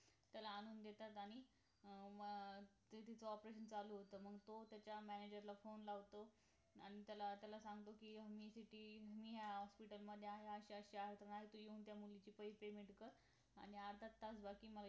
त्याला आणून देतात आणि अं मग ते तिझ operation चालू होतं मग तो त्याज्या manager ला phone लावतो आणि त्याला त्याला सांगतो कि मी city hospital मध्ये आहे म म त्या अशा अशा मुलीचे पैसे मिळवतात आणि अर्धा तास